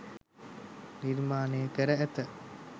නිර්මාණ කර ඇත.